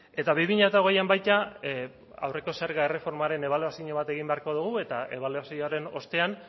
eta bi mila hogeian baita aurreko zerga erreformaren ebaluazio bat egin beharko dugu eta ebaluazioaren ostean